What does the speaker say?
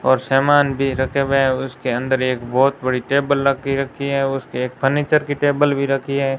और सामान भी रखे हुए हैं उसके अंदर एक बहोत बड़ी टेबल लगी रखी है उसके एक फर्नीचर की टेबल भी रखी है।